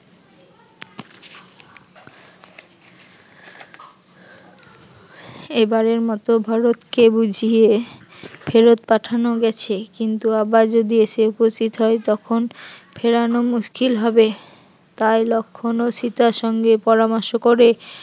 এবারের মত ভারতকে বুঝিয়ে ফেরত পাঠানো গেছে কিন্তু আবার যদি এসে উপস্থিত হয় তখন ফেরানো মুশকিল হবে তাই লক্ষণ ও সীতার সঙ্গে পরামর্শ করে